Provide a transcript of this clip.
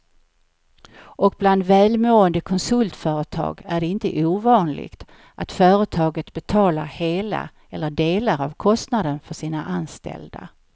Och bland välmående konsultföretag är det inte ovanligt att företaget betalar hela eller delar av kostnaden för sina anställda.